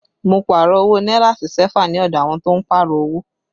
Mo Pààrọ̀ owó náírà sí sẹ́fà ní ọdọ àwọn tó ń Pààrọ̀ owó